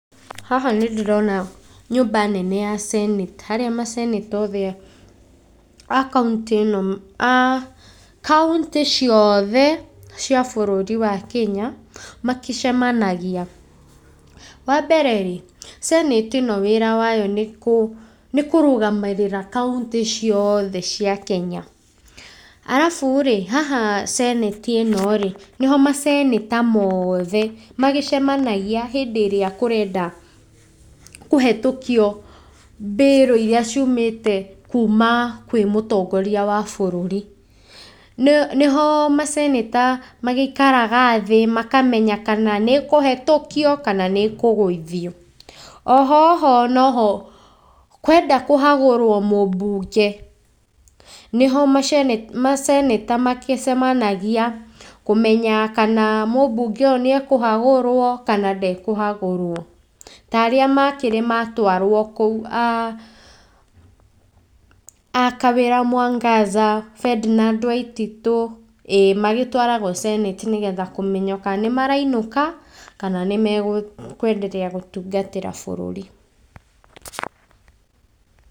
Haha nĩ ndĩrona nyũmba nene ya Senate, harĩa ma senator othe a kauntĩ, a kauntĩ ciothe cia bũrũri wa Kenya makĩcemanagia. Wa mbere rĩ, senate ĩno wĩra wao nĩ kũrũgamĩrĩra kauntĩ ciothe cia Kenya. Arabu rĩ, haha senate ĩno rĩ, nĩho ma senator mothe magĩcemanagia hĩndĩ ĩrĩa kũrenda kũhĩtũkio birũ iria ciumĩte kuma kwĩ mũtongoria wa bũrũri. Nĩho ma senator magĩikaraga thĩ makamenya kana nĩ ĩkũhetũkio kana nĩ ĩkũgũithio. Oho, oho noho kwenda kũhagũrwo mũmbunge, nĩho ma senator magĩcemanagia kũmenya kana mũbunge ũyũ nĩ ekũhagũrwo kana ndekũhagũrwo ta arĩa makĩrĩ matwarwo kũu, a Kawĩra Mwangaza, Ferdinard Waititũ, ĩĩ magĩtwaragwo senate nĩgetha kũmenywo kana nĩ marainũka kana nĩ makũenderea gũtungatĩra bũrũri.